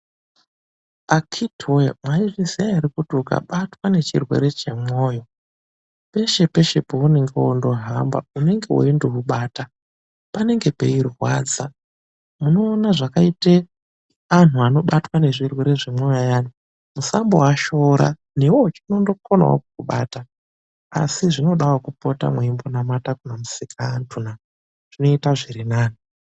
Akhitiwe, mwaizviziya ere kuti ukabatwa ngechirwere chemwoyo, peshepeshe paunenge wondohamba unenge weindobata, panenge peirwadza? Munoona zvakaite antu anobatwa ngezvirwere zvemwoyo ayani, musandoashora, newewo chinondokonawo kukubata, asi zvinodawo kupota mweimbonamata kuna musikaantuna, zvinoita zvirinani.